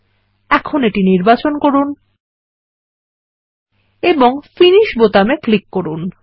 এখন এটি নির্বাচন করুন এবং ফিনিশ বোতামে ক্লিক করুন